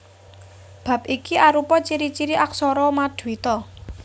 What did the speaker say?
Bab iki arupa ciri ciri aksara maduita